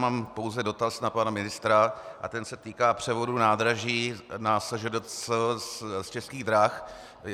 Mám pouze dotaz na pana ministra a ten se týká převodu nádraží na SŽDC z Českých drah.